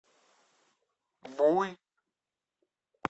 буй